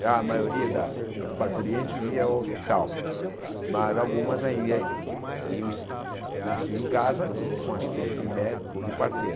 Já a maioria das das parturientes ia ao hospital, mas algumas iam e e nasciam em casa com assistência de médico ou de parteira.